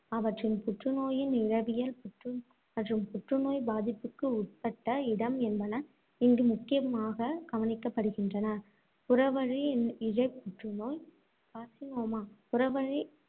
அவற்றின் புற்று நோயின் இழைவியல் மற்றும் புற்றுநோய் பாதிப்புக்கு உட்பட்ட இடம் என்பன இங்கு முக்கியமாகக் கவனிக்கப்படுகின்றன. புறவணியிழையப் புற்றுநோய் carcinoma புறவணி~